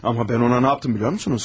Amma mən ona nə yapdım, biliyorsunuz?